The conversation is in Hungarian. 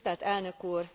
Tisztelt elnök úr!